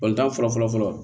Balontan fɔlɔ fɔlɔ fɔlɔ